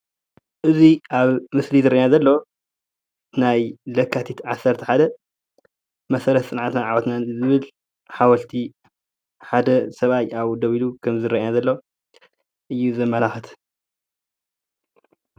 እዚ ኣብ ምስሊ ዝረአየና ዘሎ ናይ ለካቲት 11 መሰረት ፅንዓትን ዓወትን ዝብል ሓወልቲ ሓደ ሰብኣይ ካዓ ኣብኡ ደው ኢሉ ከም ዝረአየና ዘሎ እዩ ዘመላክት፡፡